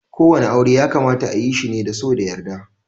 Ko wani aure ya kamata ayi shi ne da so da yarda.